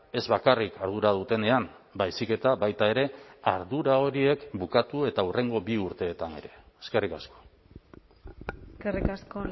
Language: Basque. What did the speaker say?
ez bakarrik ardura dutenean baizik eta baita ere ardura horiek bukatu eta hurrengo bi urteetan ere eskerrik asko eskerrik asko